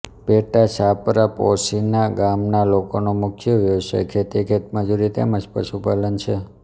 પેટા છાપરા પોશીના ગામના લોકોનો મુખ્ય વ્યવસાય ખેતી ખેતમજૂરી તેમ જ પશુપાલન છે